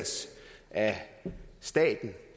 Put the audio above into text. at